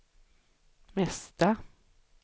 mesta